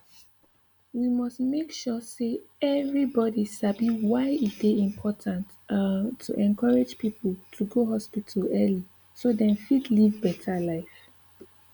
we must make sure say everybody sabi why e dey important um to encourage people to go hospital early so dem fit live better life